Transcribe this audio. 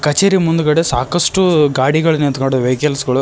ಕಚೇರಿ ಮುಂದ್ಗಡೆ ಸಾಕಷ್ಟು ಗಾಡಿಗಳು ನಿಂತು ಕೊಂಡಿವೆ ವೆಹಿಕಲ್ಸ್ ಗಳು.